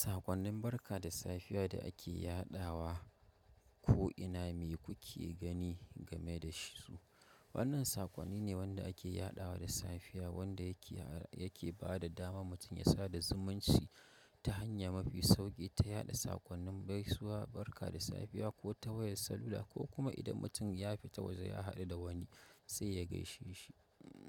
Sakonnin barka da safiya da ake yaɗawa, ko ina me kuke gani game da shisu. Wannan sakonni ne wanda ake yaɗawa da safiya wanda yake, yake ba da dama mutum ya sada zumunci ta hanya mafi sauki ta yaɗa sakonnin gaisuwa, barka da safiya ko tawaya salula ko kuma idan mutum ya fita waje ya haɗu da wani sai ya gaishe shi.